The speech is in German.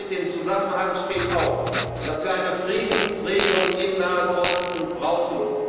Im Zusammenhang damit steht auch, dass wir eine Friedensregelung im Nahen Osten brauchen.